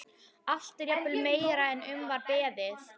Allt er jafnvel meira en um var beðið.